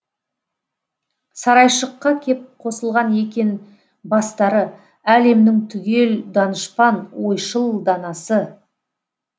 сарайшыққа кеп қосылған екен бастары әлемнің түгел данышпан ойшыл данасы